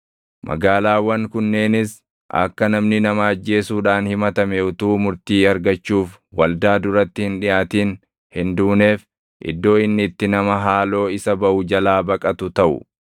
Magaalaawwan kunneenis akka namni nama ajjeesuudhaan himatame utuu murtii argachuuf waldaa duratti hin dhiʼaatin hin duuneef iddoo inni itti nama haaloo isa baʼu jalaa baqatu taʼu.